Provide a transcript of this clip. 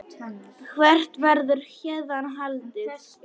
Hvert verður héðan haldið?